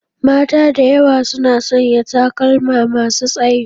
Mata da yawa suna sanya takalma masu tsayi.